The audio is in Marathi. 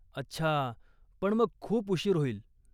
अच्छा, पण मग खूप उशीर होईल.